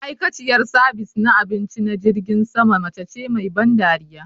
Ma'aikaciyar sabis na abinci na jirgin sama mace ce mai ban dariya